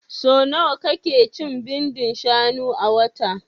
So nawa ka ke cin bindin shanu a wata?